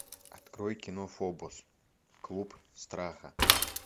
открой кино фобос клуб страха